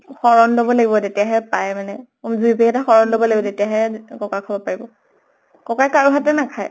শৰণ লʼব লাগিব, তেতিয়াহে পায় মানে। যুৰি পেহী হতে শৰণ লʼব লাগিব, তেতিয়াহে ককা খাব পাৰিব। ককাই কাৰো হাতৰ নাখায়।